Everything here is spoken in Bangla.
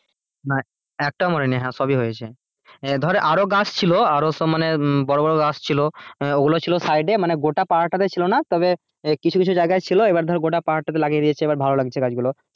হ্যাঁ একটাও মরেনি সবই হয়েছে। এ ধর আরো গাছ ছিল সব মানে বড়ো বড়ো গাছ ছিল তো ওইগুলো ছিল side এ মানে গোটা পারটাতে ছিল না তবে কিছু কিছু ছিল এইবার ধর গোটা পারটাতে লাগিয়ে দিয়েছে গাছ গুলো এইবার ভালো লাগছিলো গাছ গুলো।